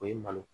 O ye malo